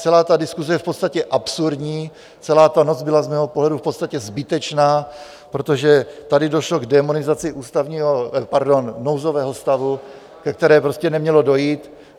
Celá ta diskuse je v podstatě absurdní, celá ta noc byla z mého pohledu v podstatě zbytečná, protože tady došlo k démonizaci nouzového stavu, ke které prostě nemělo dojít.